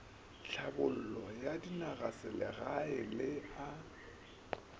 thlabollo ya dinagaselegae le a